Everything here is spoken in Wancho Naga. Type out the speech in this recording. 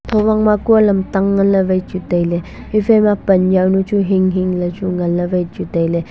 huwangma ma kuu eh lamtang nganlay wai chu tailay heephaima pan yaonu chu hing hing ley nganlay wai chu tailay.